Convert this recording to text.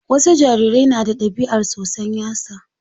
Wasu jarirai na da ɗabiar tsotsan yatsa.